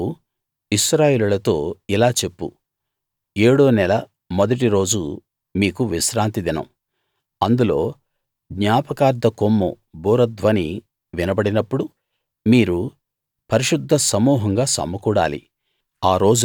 నీవు ఇశ్రాయేలీయులతో ఇలా చెప్పు ఏడో నెల మొదటి రోజు మీకు విశ్రాంతి దినం అందులో జ్ఞాపకార్థ కొమ్ము బూరధ్వని వినబడినప్పుడు మీరు పరిశుద్ధ సమూహంగా సమకూడాలి